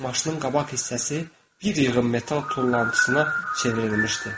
Maşının qabaq hissəsi bir yığım metal tullantısına çevrilmişdi.